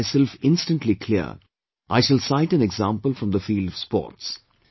To make myself instantly clear, I shall cite an example from the field of sports